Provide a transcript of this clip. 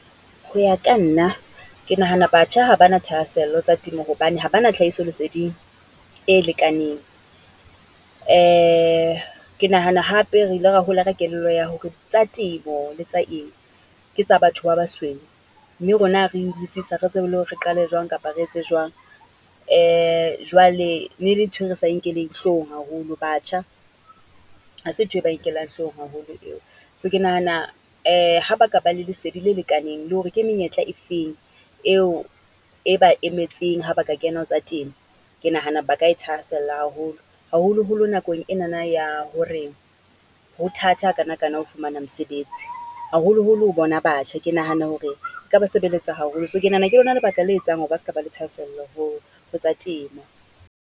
Ho ya ka nna, ke nahana batjha ha ba na thahasello tsa temo hobane ha ba na tlhahiso leseding e lekaneng. Ke nahana hape re ile ra hola re kelello ya hore tsa temo le tsa eng ke tsa batho ba basweu, mme rona ha ha re tsebe le hore re qale jwang kapa re etse jwang? Jwale ne e le nthwe re sa e nkelweng hloohong haholo. Batjha, ha se ntho e ba e nkellang hloohong haholo eo. So ke nahana ha ba ka ba le lesedi le lekaneng le hore ke menyetla e feng eo e ba emetseng ha ba ka kena ho tsa temo. Ke nahana ba kae thahasella haholo, haholoholo nakong enana ya hore, ho thata ha kanakana ho fumana mosebets. Haholoholo ho bona batjha, ke nahana hore e ka ba sebeletsa haholo. So ke nahana ke lona lebaka le etsang hore ba ska ba le thahasello ho, ho tsa temo.